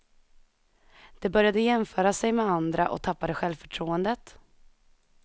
De började jämföra sig med andra och tappade självförtroendet.